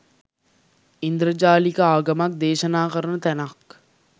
ඉන්ද්‍රජාලික ආගමක් දේශනා කරන තැනක්